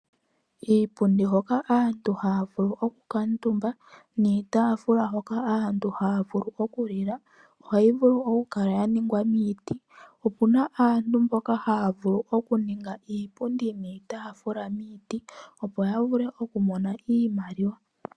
Iipundi hoka aantu haavulu oku kantumba niitaafula hoka aantu haavulu okulila ohayi vulu oku kala ya ningwa miiti, opuna aantu mboka haavulu okuninga iipundi niitaafula miiti, opo ya vule oku ninga iimaliwa